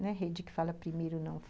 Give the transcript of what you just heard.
Não é rede que fala primeiro, não.